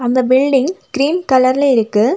அந்த building cream கலர்ல இருக்கு.